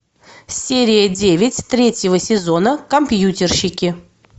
серия девять третьего сезона компьютерщики